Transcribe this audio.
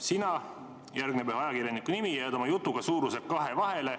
Sina,, jääd oma jutuga suuruselt kahe vahele.